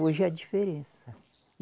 Hoje é a diferença.